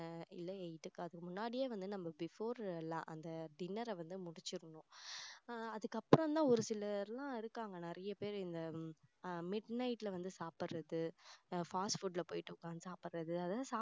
இல்ல eight க்கு அதுக்கு முன்னாடியே வந்து நம்ம before அந்த dinner அ வந்து முடிச்சிடணும் அதுக்கப்புறம் தான் ஒரு சிலர் எல்லாம் இருக்காங்க நிறைய பேர் இந்த mid night ல வந்து சாப்பிடுறது fast food ல போய்ட்டு உக்காந்து சாப்பிடுறது அதெல்லாம்